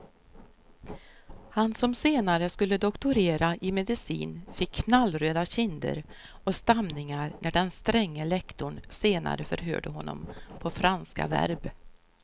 Han som senare skulle doktorera i medicin fick knallröda kinder och stamningar när den stränge lektorn senare förhörde honom på franska verb.